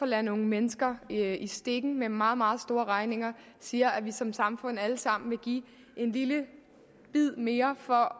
lade nogle mennesker i stikken med meget meget store regninger siger at vi som samfund alle sammen vil give en lille bid mere for